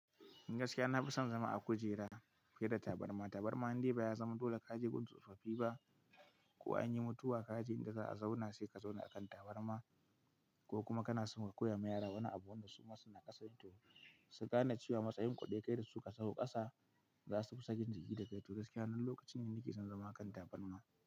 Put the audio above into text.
Gaskiya na fi son zama a kujera fiye da tabarma. Tabarma in dai baya zama dole ka je gun tsofaffi ba ko an yi mutuwa ka je inda za a zauna sai ka zauna a kan tabarma ko kuma kana son ka koya ma yara wani abu wanda su ma suna kasa to su gane cewa matsayinku ɗaya kai da su ka sauka kasa za su fi sakin jiki da kai. To gaskiya wannan lokacin ne nake son zama a kan tabarma.